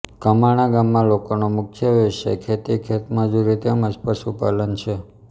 કમાણા ગામના લોકોનો મુખ્ય વ્યવસાય ખેતી ખેતમજૂરી તેમ જ પશુપાલન છે